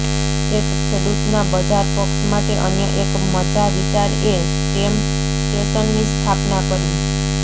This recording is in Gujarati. એક ખેડૂતના બજાર પક્ષ માટે અન્ય એક મજા વિચાર એ સ્ટેમ સ્ટેશનની સ્થાપના કરવી